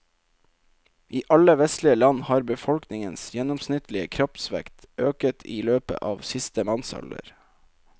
I alle vestlige land har befolkningens gjennomsnittlige kroppsvekt øket i løpet av siste mannsalder.